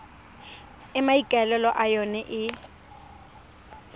e maikaelelo a yona e